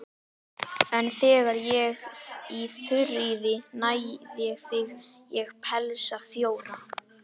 En þegar ég í Þuríði næ þigg ég pelsa fjóra.